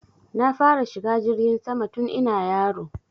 Na fara shiga jirgin sama tun ina yaro